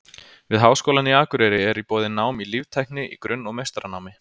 Við Háskólann á Akureyri er í boði nám í líftækni í grunn- og meistaranámi.